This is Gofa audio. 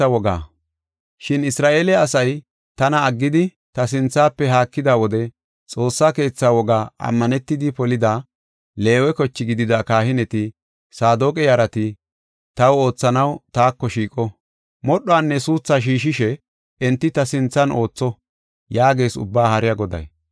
“Shin Isra7eele asay tana aggidi, ta sinthafe haakida wode Xoossa keethaa wogaa ammanetidi polida, Leewe koche gidida kahineti, Saadoqa yarati, taw oothanaw taako shiiqo. Modhdhuwanne suuthaa shiishidi enti ta sinthan ootho” yaagees Ubbaa Haariya Goday.